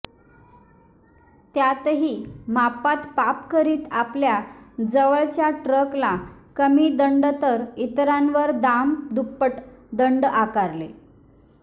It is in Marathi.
त्यातही मापात पाप करीत आपल्या जवळच्या ट्रकला कमी दंड तर इतरांवर दाम दुप्पट दंड आकारले